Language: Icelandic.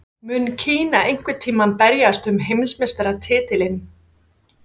Mun Kína einhvern tímann berjast um heimsmeistaratitilinn?